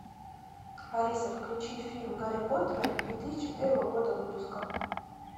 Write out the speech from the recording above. алиса включи фильм гарри поттер две тысячи первого года выпуска